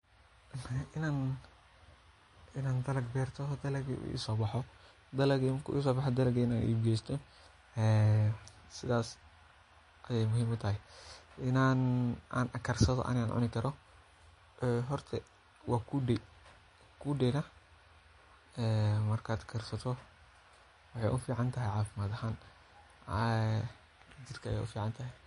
In an dalag beerto dalagi u isobaxo dalagi marki u isobaxo sidhadas ayey muhiim u tahay sidas in an karsani karo cuni karo horta waa kunde, kude nah ee marka karsato waxee u ficantahay cafimaad ahan ee jirka ayey u ficantahay,